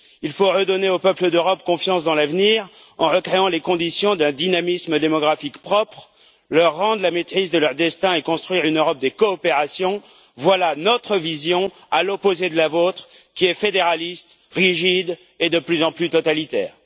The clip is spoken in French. Il faut redonner aux peuples d'Europe confiance dans l'avenir, en recréant les conditions d'un dynamisme démographique propre, leur rendre la maîtrise de leur destin et construire une Europe des coopérations, voilà notre vision, à l'opposé de la vôtre, qui est fédéraliste, rigide et de plus en plus totalitaire.